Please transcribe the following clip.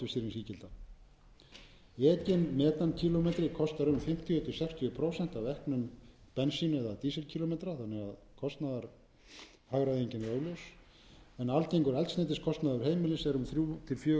tvö gildi ekinn metan kílómetra kostar um fimmtíu til sextíu prósent af eknum bensín eða dísil kílómetra þannig að kostnaðarhagræðingin er óljós en algengur eldsneytiskostnaður heimilis er um þrjú hundruð til fjögur hundruð þúsund krónur